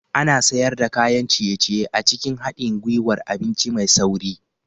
Ana sayar da kayan ciye-ciye a cikin haɗin gwiwar abinci mai sauri